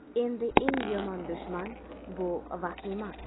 Endi eng yomon dushman bu vahima.